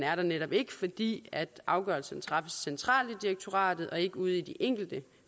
er der netop ikke fordi afgørelsen træffes centralt i direktoratet og ikke ude i de enkelte